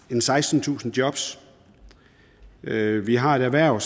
har sekstentusind jobs vi vi har et erhverv